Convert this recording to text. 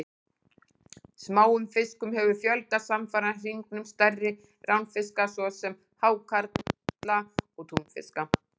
Smáum fiskum hefur fjölgað samfara hnignun stærri ránfiska svo sem hákarla og túnfiska.